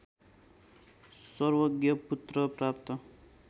सर्वज्ञ पुत्र प्राप्त